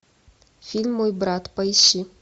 фильм мой брат поищи